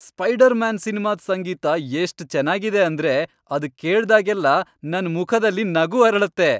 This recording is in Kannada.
ಸ್ಪೈಡರ್ ಮ್ಯಾನ್ ಸಿನ್ಮಾದ್ ಸಂಗೀತ ಎಷ್ಟ್ ಚೆನ್ನಾಗಿದೆ ಅಂದ್ರೆ ಅದ್ ಕೇಳ್ದಾಗೆಲ್ಲ ನನ್ ಮುಖದಲ್ಲಿ ನಗು ಅರಳತ್ತೆ.